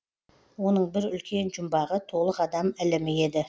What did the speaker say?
оның бір үлкен жұмбағы толық адам ілімі еді